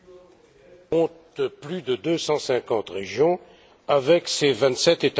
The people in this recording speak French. compte plus de 250 régions avec ses vingt sept États membres.